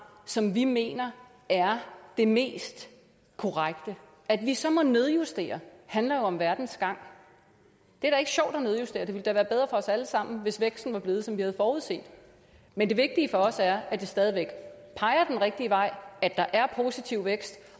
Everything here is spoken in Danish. som vi mener er det mest korrekte at vi så må nedjustere handler jo om verdens gang det er ikke sjovt at nedjustere det ville da være bedre for os alle sammen hvis væksten var blevet sådan som vi havde forudset men det vigtige for os er at det stadig væk peger den rigtige vej at der er positiv vækst